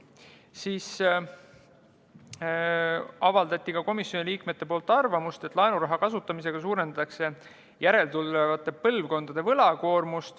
Siis avaldasid komisjoni liikmed arvamust, et laenuraha kasutamisega suurendatakse järeltulevate põlvkondade võlakoormust.